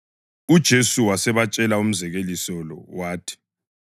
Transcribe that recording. UJesu wasebatshela umzekeliso lo, wathi: